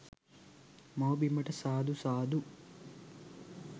මව් බිමට සාදු සාදු